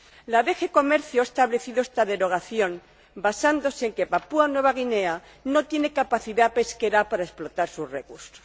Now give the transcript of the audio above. La DG Comercio ha establecido esta exención basándose en que Papúa Nueva Guinea no tiene capacidad pesquera para explotar sus recursos.